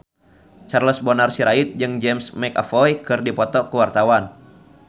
Charles Bonar Sirait jeung James McAvoy keur dipoto ku wartawan